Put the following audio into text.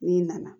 N'i nana